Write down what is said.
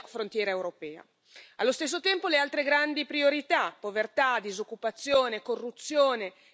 Allo stesso tempo, le altre grandi priorità povertà, disoccupazione, corruzione, cambiamento climatico.